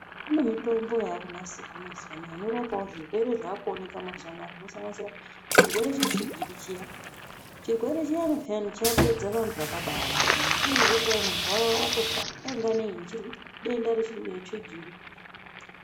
Kune mitombo yakunasirwa mazuwano inorapawo zvirwere zvakuoonekwa mazuwano zvinosanganisira chirwere chetsvigiri chiya. Chirwere chiyani peyani chapedza Vantu vakabawanda, unonzwa kuzi kwai muntu wawa watofa, wainga nei ,nedenda chetsvigiri.